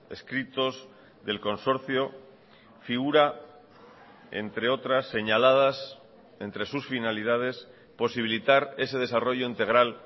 escritos del consorcio figura entre otras señaladas entre sus finalidades posibilitar ese desarrollo integral